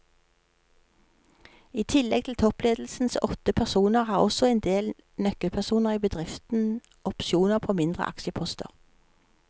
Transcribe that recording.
I tillegg til toppledelsens åtte personer har også en del nøkkelpersoner i bedriften opsjoner på mindre aksjeposter.